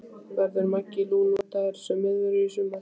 Verður Maggi Lú notaður sem miðvörður í sumar?